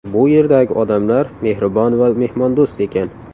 Bu yerdagi odamlar mehribon va mehmondo‘st ekan.